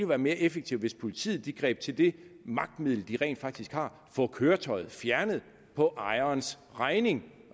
være mere effektivt hvis politiet greb til det magtmiddel de rent faktisk har nemlig få køretøjet fjernet på ejerens regning